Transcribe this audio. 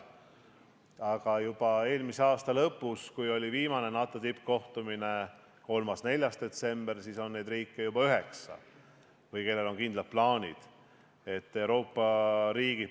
Aga juba eelmise aasta lõpus, kui toimus viimane NATO tippkohtumine, 3.–4. detsembril, oli neid riike või neid, kellel on kindlad plaanid, juba üheksa.